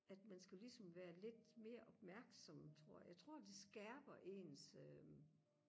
at man skulle ligesom være lidt mere opmærksom tror jeg jeg tror det skærper ens øh